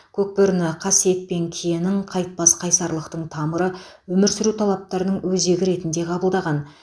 көкбөріні қасиет пен киенің қайтпас қайсарлықтың тамыры өмір сүру талаптарының өзегі ретінде қабылдаған